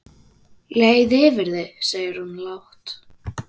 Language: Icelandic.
Leið yfir þig segir hún lágt.